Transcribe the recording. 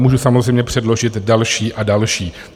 Můžu samozřejmě předložit další a další.